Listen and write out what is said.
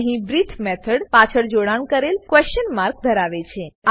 અહીં breathe method પાછળ જોડાણ કરેલ ક્વેશન માર્ક ધરાવે છે